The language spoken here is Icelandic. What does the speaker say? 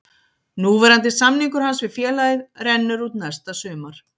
Núverandi samningur hans við félagið rennur út næsta sumar.